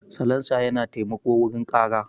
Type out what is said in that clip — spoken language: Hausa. Salansa yana taimako wurin ƙara.